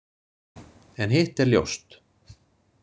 En hitt er ljóst.